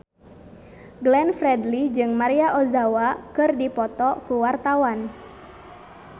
Glenn Fredly jeung Maria Ozawa keur dipoto ku wartawan